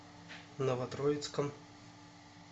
новотроицком